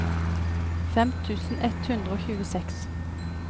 fem tusen ett hundre og tjueseks